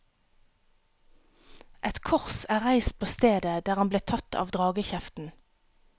Et kors er reist på stedet der han ble tatt av dragekjeften.